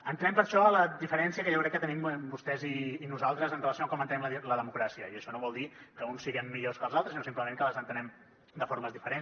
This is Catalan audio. entrem per això en la diferència que jo crec que tenim vostès i nosaltres amb relació a com entenem la democràcia i això no vol dir que uns siguem millors que els altres sinó simplement que les entenem de formes diferents